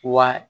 Wa